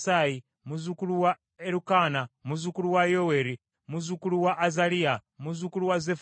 muzzukulu wa Erukaana, muzzukulu wa Yoweeri, muzzukulu wa Azaliya, muzzukulu wa Zeffaniya,